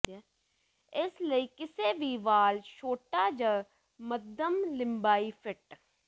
ਇਸ ਲਈ ਕਿਸੇ ਵੀ ਵਾਲ ਛੋਟਾ ਜ ਮੱਧਮ ਲੰਬਾਈ ਫਿੱਟ